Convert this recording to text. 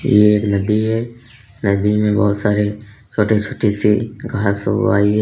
ये एक नदी है। नदी में बहुत सारे छोटे छोटे से घास उग वाई --